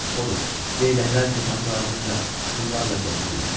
Odur, leyləklər kotanın ardınca şumlarla gəzirlər.